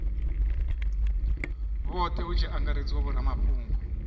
vhothe hu tshi angaredzwa vhoramafhungo